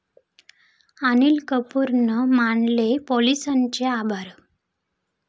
अनिल कपूरनं मानले पोलिसांचे आभार